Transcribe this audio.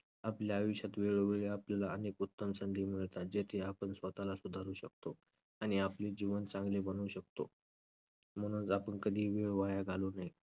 आपल्या आयुष्यात वेळोवेळी आपल्याला अनेक उत्तम संधी मिळतात जेथे आपण स्वतःला सुधारू शकतो आणि आपले जीवन चांगले बनवू शकतो. म्हणूनच आपण कधीही वेळ वाया घालवू नये.